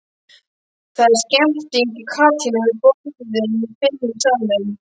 Það er stemmning og kátína við borðin fimm í salnum.